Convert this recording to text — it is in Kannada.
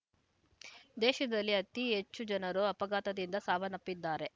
ದೇಶದಲ್ಲಿ ಅತಿ ಹೆಚ್ಚು ಜನರು ಅಪಘಾತದಿಂದ ಸಾವನ್ನಪ್ಪಿದ್ದಾರೆ